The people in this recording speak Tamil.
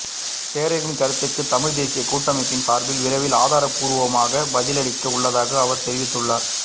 தேரரின் கருத்துக்கு தமிழ் தேசியக் கூட்டமைப்பின் சார்பில் விரைவில் ஆதாரப் பூர்வமாக பதிலளிக்க உள்ளதாகவும் அவர் தெரிவித்துள்ளார்